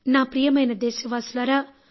నా ప్రియమైన దేశవాసులారా